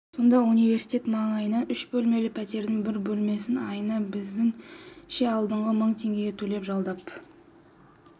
сонда университет маңайынан үш бөлмелі пәтердің бір бөлмесін айына біздіңше алғанда мың теңге төлеп жалдап